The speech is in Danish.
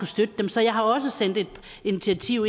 støtte dem så jeg har også sendt et initiativ